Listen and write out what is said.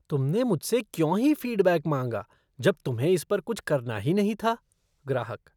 तुमने मुझसे क्यों ही फ़ीडबैक माँगा जब तुम्हें इस पर कुछ करना ही नहीं था? ग्राहक